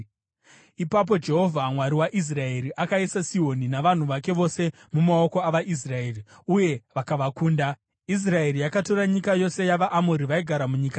“Ipapo Jehovha, Mwari waIsraeri, akaisa Sihoni navanhu vake vose mumaoko avaIsraeri, uye vakavakunda. Israeri yakatora nyika yose yavaAmori vaigara munyika iyo,